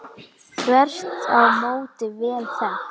Þvert á móti vel þekkt.